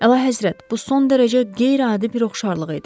Əlahəzrət, bu son dərəcə qeyri-adi bir oxşarlıq idi.